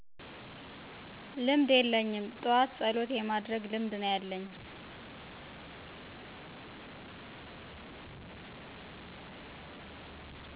ልምድ የለኝም። ጥዎት ፀሎት የማድረግ ልምድ ነው ያለኝ